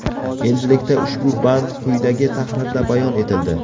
Endilikda ushbu band quyidagi tahrirda bayon etildi.